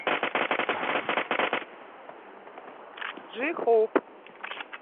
джи хоуп